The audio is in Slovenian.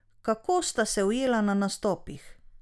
Kako sta se ujela na nastopih?